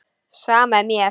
Sama er mér.